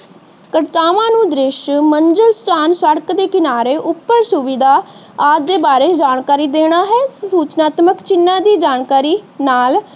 ਕਰਤਾਵਾਂ ਨੂੰ ਦ੍ਰਿਸ਼ ਮੰਜਿਲ ਧਿਆਨ ਸੜਕ ਦੇ ਕਿਨਾਰੇ ਉੱਪਰ ਸੁਵਿਧਾ ਆਪਦੇ ਬਾਰੇ ਜਾਣਕਾਰੀ ਦੇਣਾ ਹੈ। ਸੁਚਨਾਤ੍ਮਕ ਚਿਹਨਾਂ ਦੀ ਜਾਣਕਾਰੀ ਨਾਲ